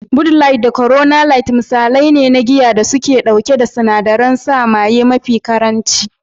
"Bud light, da Corona light" misalai ne na giya da suke ɗauke da sinadarin sa maye mafi ƙaranci.